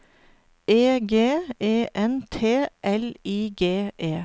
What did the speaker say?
E G E N T L I G E